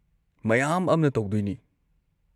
ꯃꯌꯥꯝ ꯑꯃꯅ ꯇꯧꯗꯣꯏꯅꯤ ꯫